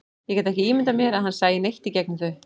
Ég gat ekki ímyndað mér að hann sæi neitt í gegnum þau.